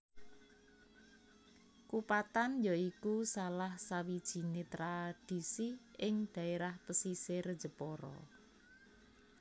Kupatan ya iku salah sawijiné tradisi ing dhaérah pesisir Jepara